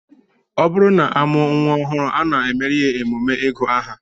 Ọ bụrụ na a mụọ nnwa ọhụụ, a na-emere ya emume ịgụ aha